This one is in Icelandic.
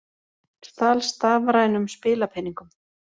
Stal stafrænum spilapeningum